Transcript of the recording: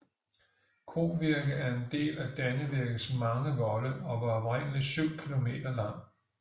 Kovirke er en del af Dannevirkes mange volde og var oprindelig syv km lang